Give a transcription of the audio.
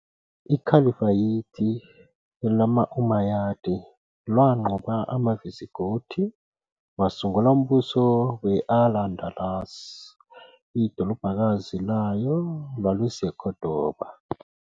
iKhalifayithi lamaUmayadi lwanqoba amaVisigothi wasungula umbuso we-Al Andalus, idolobhakazi layo lwawuseKhodoba.